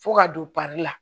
Fo ka don la